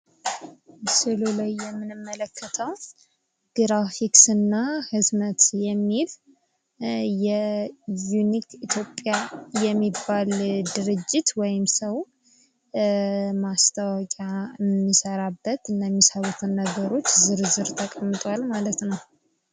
ምስሉ ላይ ምንመለከተው ግራፊክስ እና ህትመት የሚል የዩኒክ ኢትዮጵያ የሚባል የድርጅት ወይም ሰው ማስታወቂ የሚሰራበት ነገሮች ዝርዝር ተቀምጧል ማለት ነው